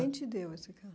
Quem te deu esse carro?